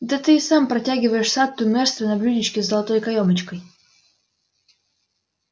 да ты и сам протягиваешь сатту мэрство на блюдечке с золотой каёмочкой